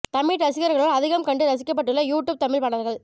தமிழ் ரசிகர்களால் அதிகம் கண்டு ரசிக்கப்பட்டுள்ள யூ டூப் தமிழ் பாடல்கள்